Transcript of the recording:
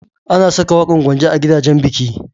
Ana saka waƙan Gwanja a gidajan biki.